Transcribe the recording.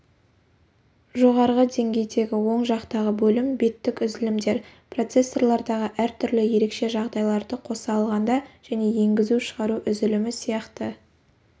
жоғарғы деңгейдегі оң жақтағы бөлім беттік үзілімдер процессорлардағы әр түрлі ерекше жағдайларды қоса алғанда және енгізу-шығару үзілімі сияқты